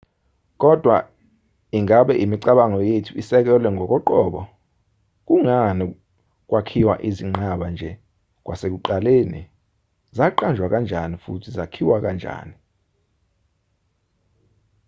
kodwa ingabe imicabango yethu isekelwe ngokoqobo kungani kwakhiwa izinqaba nje kwasekuqaleni zaqanjwa kanjani futhi zakhiwa kanjani